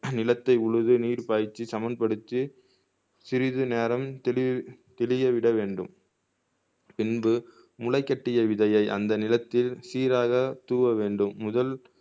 நிலத்தை உழுது நீர் பாய்ச்சி சமன்படுத்தி சிறிது நேரம் திடி திடிய விட வேண்டும் பின்பு முளைக்கட்டிய விதையை அந்த நிலத்தில் சீராக தூவ வேண்டும் முதல்